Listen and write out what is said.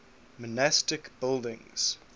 monastic buildings